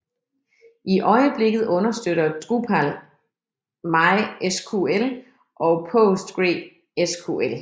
I øjeblikket understøtter Drupal MySQL og PostgreSQL